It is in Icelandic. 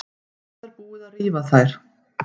Það er búið að rífa þær.